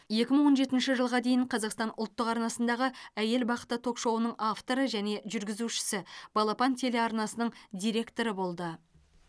екі мын он жетінші жылға дейін қазақстан ұлттық арнасындағы әйел бақыты ток шоуының авторы және жүргізушісі балапан телеарнасының директоры болды